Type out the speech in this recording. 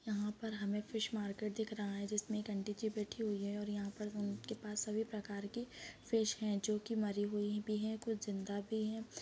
यहां पर हमें फिश मार्केट दिख रहा है जिसमे एक आंटी जी बैठी हुई है और यहाँ पर उनके पास सभी प्रकार की फिश है जो की मरी हुई भी है और कुछ जिंदा भी है।